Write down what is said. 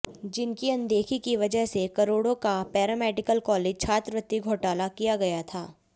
जिनकी अनदेखी की वजह से करोड़ों का पैरामेडिकल कॉलेज छात्रवृत्ति घोटाला किया गया था